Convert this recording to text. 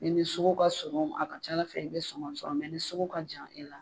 Ni ni sugu ka surun a ka ca ala fɛ i be suma sɔrɔ ni ni sugu ka jan e la.